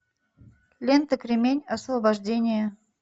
лента кремень освобождение